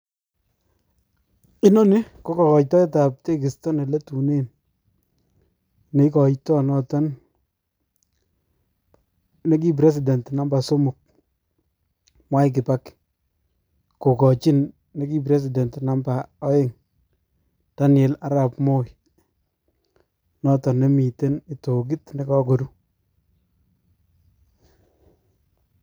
Inoni ko kokoitoetab tekisto neletunen neikoito noton nekii president number somok Mwai Kibaki kokochin nekii president namba oeng Daniel Arab Moi noton nemiten kitokit nekokoru.